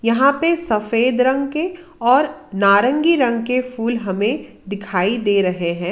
यहां पे सफेद रंग के और नारंगी रंग के फूल हमें दिखाई दे रहे हैं।